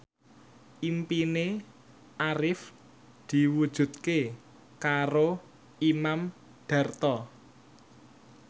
impine Arif diwujudke karo Imam Darto